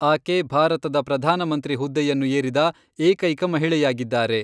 ಆಕೆ ಭಾರತದ ಪ್ರಧಾನ ಮಂತ್ರಿ ಹುದ್ದೆಯನ್ನು ಏರಿದ ಏಕೈಕ ಮಹಿಳೆಯಾಗಿದ್ದಾರೆ.